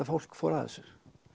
fólk fór að þessu